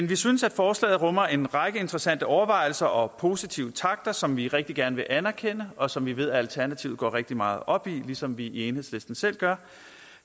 vi synes at forslaget rummer en række interessante overvejelser og positive takter som vi rigtig gerne vil anerkende og som vi ved alternativet går rigtig meget op i ligesom vi i enhedslisten selv gør